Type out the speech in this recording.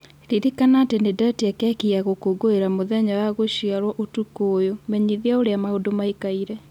Ririkana atĩ nĩ ndetia keki ya gũkũngũĩra mũthenya wa gũciarũo ũtukũ ũyũ menyithia ũrĩa maũndũ mariĩ